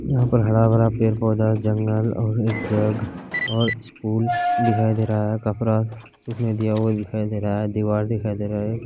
यहां पर हरा-भरा पेड़-पौधा जंगल और एक जग और स्कूल दिखाई दे रहा है कपड़ा सूखने दिया हुआ दिखाई दे रहा है दिवार दिखाई दे रहा है।